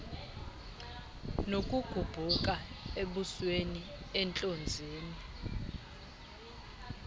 nokugubhuka ebusweni entlonzeni